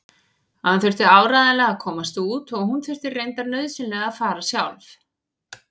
Hann þurfti áreiðanlega að komast út og hún þurfti reyndar nauðsynlega að fara sjálf.